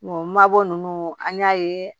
mabɔ ninnu an y'a ye